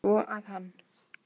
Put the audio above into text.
Svo að hann.